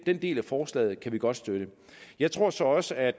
den del af forslaget kan vi godt støtte jeg tror så også at